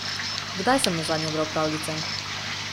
Kdaj sem nazadnje bral pravljice?